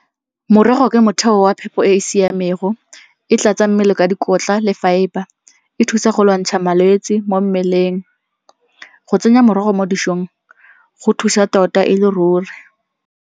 Morogo ke motheo wa phepo e e siamego, e tlatsa mmele ka dikotla le fiber, e thusa go lwantsha malwetse mo mmeleng. Go tsenya morogo mo dijong go thusa tota e le ruri.